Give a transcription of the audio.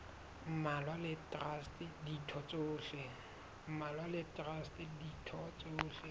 mmalwa le traste ditho tsohle